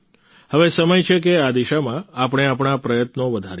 હવે સમય છે કે આ દિશામાં આપણે આપણા પ્રયત્નો વધારીએ